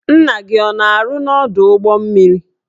Nna gị ọ na-arụ n'ọdụ ụgbọ mmiri?